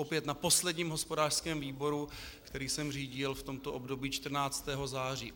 Opět na posledním hospodářském výboru, který jsem řídil v tomto období 14. září.